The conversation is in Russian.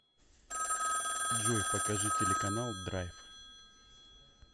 джой покажи телеканал драйв